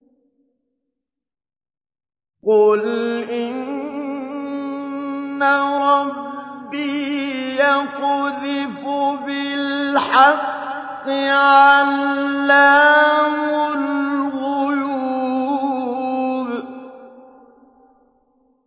قُلْ إِنَّ رَبِّي يَقْذِفُ بِالْحَقِّ عَلَّامُ الْغُيُوبِ